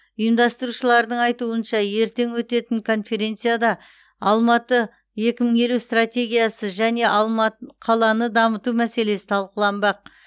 ұйымдастырушылардың айтуынша ертең өтетін конференцияда алматы екі мың елу стратегиясы және алмат қаланы дамыту мәселесі талқыланбақ